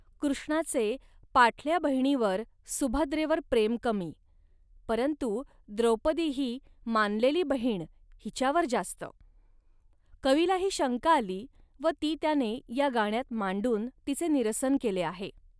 कृष्णाचे पाठल्या बहिणीवरसुभद्रेवर प्रेम कमी, परंतु द्रौपदीही मानलेली बहीणहिच्यावर जास्त. कवीला ही शंका आली व ती त्याने या गाण्यात मांडून तिचे निरसन केले आहे